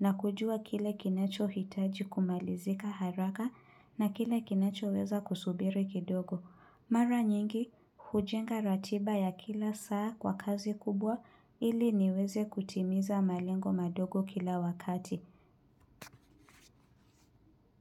na kujua kile kinachohitaji kumalizika haraka na kile kinachoweza kusubiri kidogo. Mara nyingi, hujenga ratiba ya kila saa kwa kazi kubwa ili niweze kutimiza malengo madogo kila wakati.